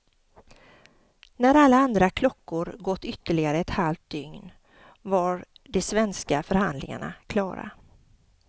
När alla andra klockor gått ytterligare ett halvt dygn var de svenska förhandlingarna klara.